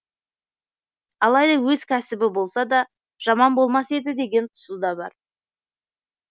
алайда өз кәсібі болса да жаман болмас еді деген тұсы да бар